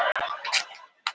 Áflogahundurinn kom til mín.